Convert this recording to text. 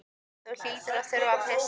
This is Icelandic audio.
Þú hlýtur að þurfa að pissa.